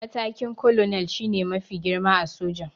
Matakin 'Colonel' shi ne mafi girma a soja